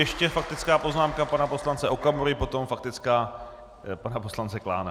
Ještě faktická poznámka pana poslance Okamury, potom faktická pana poslance Klána.